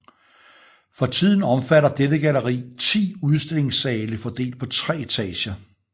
For tiden omfatter dette galleri 10 udstillingssale fordelt på tre etager